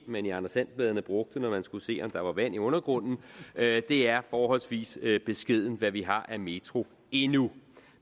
man i anders and bladene brugte når man skulle se om der var vand i undergrunden det er forholdsvis beskedent hvad vi har af metro endnu